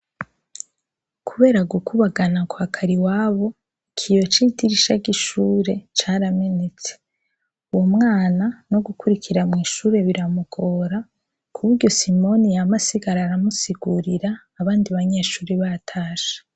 Kubera gukubagana kwa Kariwabo, ikiyo c'idirisha c'ishure caramenetse. Umwana no gukurikira mw'ishure biramugora, kuburyo Simoni yama asigara aramusigurira, abandi banyeshure batashe.